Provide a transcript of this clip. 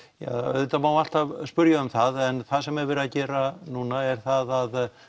auðvitað má alltaf um það en það sem verið er að gera núna er það að